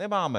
Nemáme.